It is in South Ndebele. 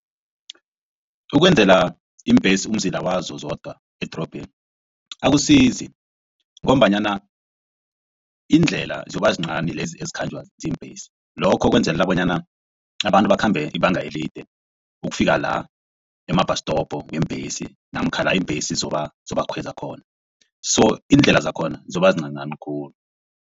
Ukwenzela iimbhesi umzila wazo zodwa edrobheni akusizi ngombanyana iindlela ziyoba zincani lezi ezikhanjwa ziimbhesi. Lokho kwenzelela bonyana abantu bakhambe ibanga elide ukufika la ema-bus stop weembhesi namkha la iimbhesi zobakhweza khona so iindlela zakhona zoba zincancani khulu.